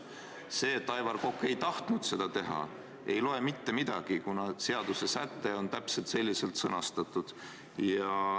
See, et Aivar Kokk ei tahtnud seda teha, ei loe mitte midagi, kuna seadussäte on täpselt selliselt sõnastatud.